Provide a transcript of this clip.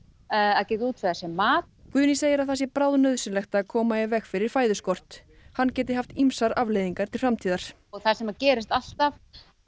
að geta útvegað sér mat Guðný segir að það sé bráðnauðsynlegt að koma í veg fyrir fæðuskort hann geti haft ýmsar afleiðingar til framtíðar það sem gerist alltaf